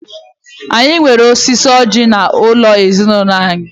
Anyi nwere osisi ọjí n'ulo ezinulo anyi.